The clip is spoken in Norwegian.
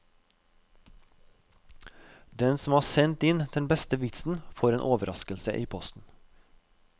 Den som har sendt inn den beste vitsen får en overraskelse i posten.